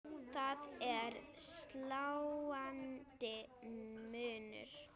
Það er sláandi munur.